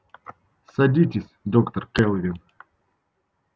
садитесь доктор кэлвин